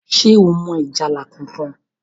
ṣe o mọ ìjálá kánkan?